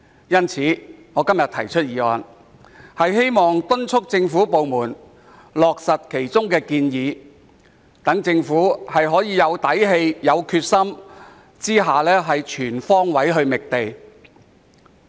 因此，我今天提出的議案，旨在敦促政府部門落實建議，讓政府能在有底氣、有決心下全方位覓地。